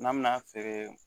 N'an bɛna feere